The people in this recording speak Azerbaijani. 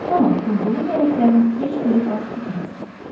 Amma qurduğu kələklərin heç biri baş tutmazdı.